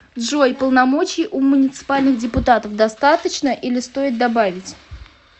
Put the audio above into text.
джой полномочий у муниципальных депутатов достаточно или стоит добавить